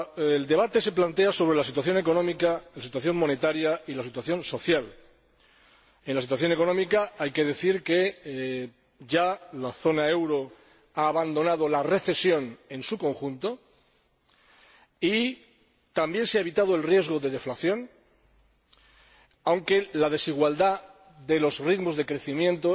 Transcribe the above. El debate se plantea sobre la situación económica, la situación monetaria y la situación social. Respecto de la situación económica, hay que decir que la zona euro ya ha abandonado la recesión en su conjunto y también se ha evitado el riesgo de deflación, aunque las desigualdades de los ritmos de crecimiento